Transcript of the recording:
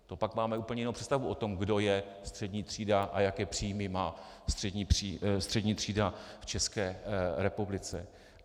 To pak máme úplně jinou představu o tom, kdo je střední třída a jaké příjmy má střední třída v České republice.